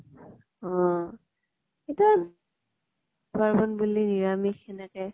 অহ ইতা পাৰ্বন বুলি নিৰামিষ সেনেকে